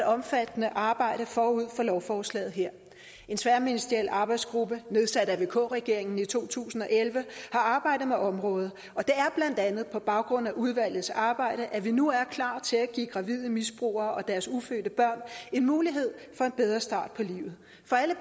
omfattende arbejde forud for lovforslaget her en tværministeriel arbejdsgruppe nedsat af vk regeringen i to tusind og elleve har arbejdet med området og andet på baggrund af udvalgets arbejdet at vi nu er klar til at give gravide misbrugere og deres ufødte børn en mulighed for en bedre start på livet for alle